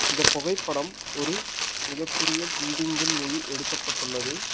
இந்த புகைப்படம் ஒரு மிக பெரிய பில்டிங்கின் உள் எடுக்கப்பட்டுள்ளது.